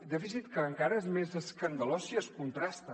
dèficit que encara és més escandalós si es contrasta